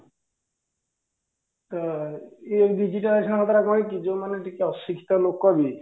ତ ଏଇ digitalization ପରା କହିଛି ଯୋଉ ମାନେ ଟିକେ ଅଶିକ୍ଷିତ ଲୋକ ବି